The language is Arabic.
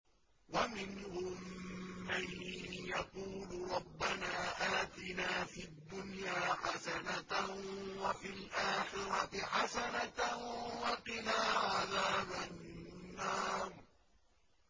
وَمِنْهُم مَّن يَقُولُ رَبَّنَا آتِنَا فِي الدُّنْيَا حَسَنَةً وَفِي الْآخِرَةِ حَسَنَةً وَقِنَا عَذَابَ النَّارِ